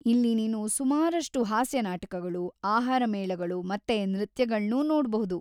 ಇಲ್ಲಿ ನೀನು ಸುಮಾರಷ್ಟು ಹಾಸ್ಯ ನಾಟಕಗಳು, ಆಹಾರ ಮೇಳಗಳು ಮತ್ತೆ ನೃತ್ಯಗಳ್ನೂ ನೋಡ್ಬಹುದು.